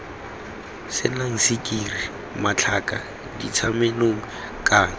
senang sukiri matlhaka dintshamenong kana